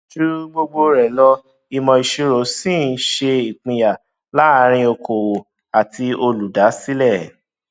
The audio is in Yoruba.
ju gbogbo rẹ lọ ìmọ ìṣirò ṣì ń ṣe ìpínyà láàárín okòòwò àti olùdásílẹ